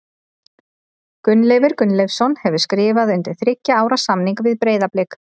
Gunnleifur Gunnleifsson hefur skrifað undir þriggja ára samning við Breiðablik.